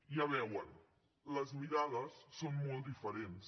ja ho veuen les mirades són molt diferents